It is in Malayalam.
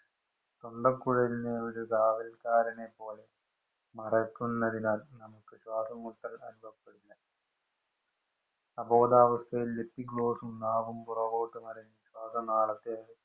തൊണ്ടക്കുഴലിന് ഒരു കാവല്‍ക്കാരനെ പോലെ നടക്കുന്നതിനാല്‍ നമുക്ക് ശ്വാസംമുട്ടല്‍ അനുഭവപ്പെടില്ല. അബോധാവസ്ഥയില്‍ Epiglottis ഉം, നാവും പുറകോട്ട് ശ്വാസനാളത്തെ